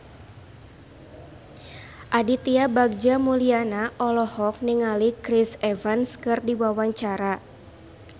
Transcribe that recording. Aditya Bagja Mulyana olohok ningali Chris Evans keur diwawancara